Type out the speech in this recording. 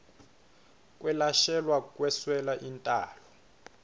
kwelashelwa kweswela intalo